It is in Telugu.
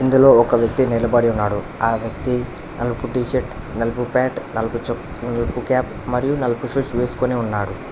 ఇందులో ఒక వ్యక్తి నిలబడి ఉన్నాడు ఆ వ్యక్తి నలుపు టీషర్ట్ నలుపు ప్యాంటు నలుపు చొక్ నలుపు క్యాప్ నలుపు షూస్ వేసుకొని ఉన్నాడు.